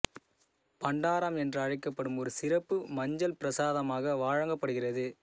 பண்டாரம் என்று அழைக்கப்படும் ஒரு சிறப்பு மஞ்சள் பிரசாதமாக வழங்கப்படுகிறது